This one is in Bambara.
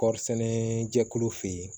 Kɔɔri sɛnɛ jɛkulu fɛ yen